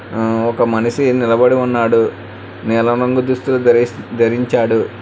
ఒక మనిషి నిలబడి ఉన్నాడు నీలం రంగు దుస్తులు దరించాడు.